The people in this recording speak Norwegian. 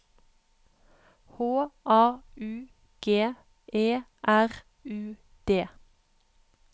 H A U G E R U D